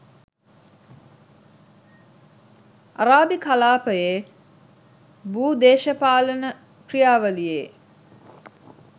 අරාබි කලාපයේ භූ දේශපාලන ක්‍රියාවලියේ